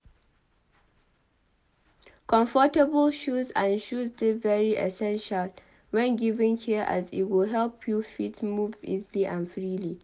Comfortable shoes and shoes de very essential when giving care as e go help you fit move easily and freely